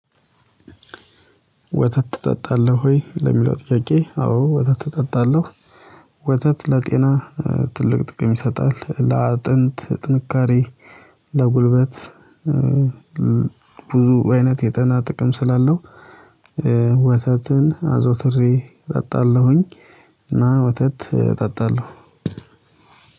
ወተት ትጠጣለህ ወይ ለሚለው ጥያቄ አዎ ወተት እጠጣለሁ። ወተት ለጤና ትልቅ ጥቅም ይሰጣል ለአጥንት ጥንካሬ። ለጉልበት ብዙ አይነት የጤና ጥቅም ስላለው። ወተትን አዘውትሬ እጠጣለሁኝ። እና ወተት እጠጣለሁ።